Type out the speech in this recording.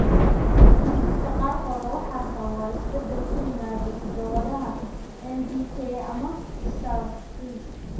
Kiisaska qaarkood waxaa sababa isbeddel (isbeddel) ku yimaadda hiddo-wadaha MVK ama SART3.